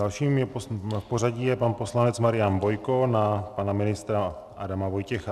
Dalším v pořadí je pan poslanec Marian Bojko na pana ministra Adama Vojtěcha.